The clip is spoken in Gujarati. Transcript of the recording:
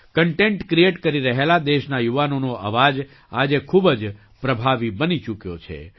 કન્ટેન્ટ ક્રીએટ કરી રહેલા દેશના યુવાનોનો અવાજ આજે ખૂબ જ પ્રભાવી બની ચૂક્યો છે